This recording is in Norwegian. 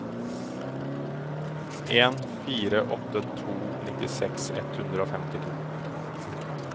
en fire åtte to nittiseks ett hundre og femtito